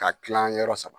Ka tila yɔrɔ saba